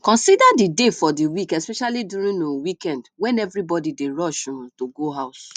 consider the day for di week especially during um weekend when everybody dey rush um to go house